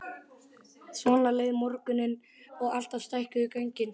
Svona leið morgunninn og alltaf stækkuðu göngin.